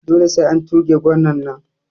Dole sai an tuge gwanan nan